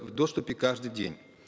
в доступе каждый день